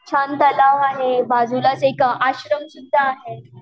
छान तलाव आहे बाजूलाच एक आश्रम सुद्धा आहे.